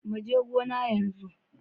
Mu je gona yanzu.